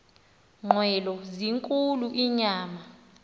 nqwelo zinkulu inyama